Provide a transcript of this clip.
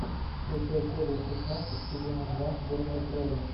включай серию шестнадцать сезона два дурной крови